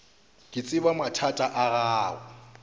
ke tseba mathata a gago